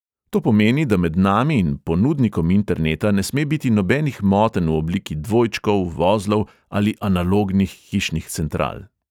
To pomeni, da med nami in ponudnikom interneta ne sme biti nobenih motenj v obliki dvojčkov, vozlov ali analognih hišnih central.